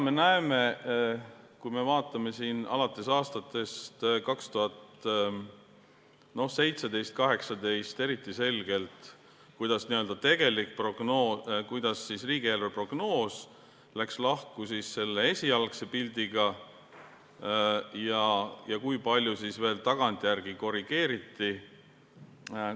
Me näeme alates aastatest 2017 või 2018 eriti selgelt, kuidas riigieelarve prognoos läks lahku sellest esialgsest pildist ja kui palju veel tagantjärele korrigeeriti.